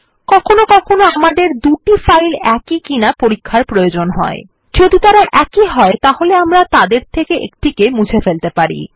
কখনও কখনও আমাদের দুটি ফাইল একই কিনা পরীক্ষার প্রয়োজন হয় যদি তারা একই হয় তাহলে আমরা তাদের থেকে একটা কে মুছে ফেলতে পারি